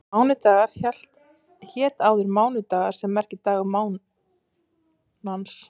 Mánudagur hét áður mánadagur sem merkir dagur mánans.